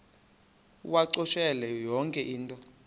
uwacakushele yonke into